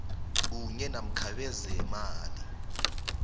kunye namkha bezeemali